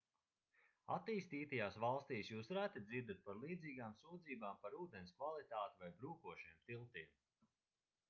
attīstītajās valstīs jūs reti dzirdat par līdzīgām sūdzībām par ūdens kvalitāti vai brūkošiem tiltiem